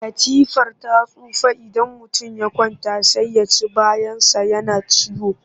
Katifar ta tsufa idan mutum ya kwanta sai ya ci bayansa yana ciwo